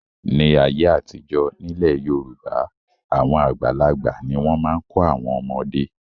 Ní ayé àtijọ́, nílẹ̀ Yorùbá àwọn àgbàlagbà ni wọ́n máa ń kọ́ àwọn ọmọdé.